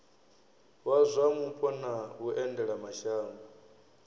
wa zwa mupo na vhuendelamashango